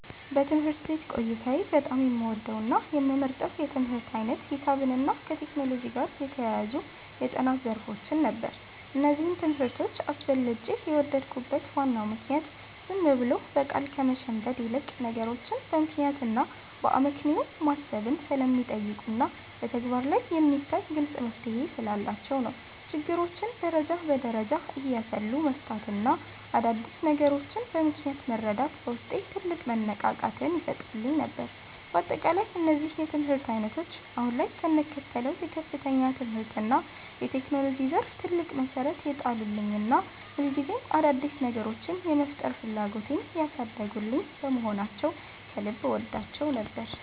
በትምህርት ቤት ቆይታዬ በጣም የምወደውና የምመርጠው የትምህርት ዓይነት ሂሳብንና ከቴክኖሎጂ ጋር የተያያዙ የጥናት ዘርፎችን ነበር። እነዚህን ትምህርቶች አብልጬ የወደድኩበት ዋናው ምክንያት ዝም ብሎ በቃል ከመሸምደድ ይልቅ፣ ነገሮችን በምክንያትና በአመክንዮ ማሰብን ስለሚጠይቁና በተግባር ላይ የሚታይ ግልጽ መፍትሔ ስላላቸው ነው። ችግሮችን ደረጃ በደረጃ እያሰሉ መፍታትና አዳዲስ ነገሮችን በምክንያት መረዳት በውስጤ ትልቅ መነቃቃትን ይፈጥርልኝ ነበር። በአጠቃላይ እነዚህ የትምህርት ዓይነቶች አሁን ላይ ለምከተለው የከፍተኛ ትምህርትና የቴክኖሎጂ ዘርፍ ትልቅ መሠረት የጣሉልኝና ሁልጊዜም አዳዲስ ነገሮችን የመፍጠር ፍላጎቴን ያሳደጉልኝ በመሆናቸው ከልብ እወዳቸው ነበር።